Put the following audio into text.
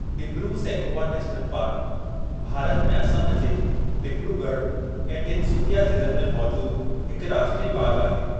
Dibru-Saikhowa national park Bharat में असम जे डिब्रूगढ़ ऐं तिनसुकिया ज़िलनि में मौजूदु हिकु राष्ट्रीय बाग़ु आहे।